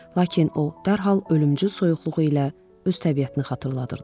Lakin o dərhal ölümcül soyuqluğu ilə öz təbiətini xatırladırdı.